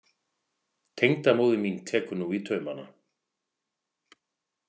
Tengdamóðir mín tekur nú í taumana.